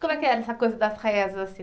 Como é que era essa coisa das rezas assim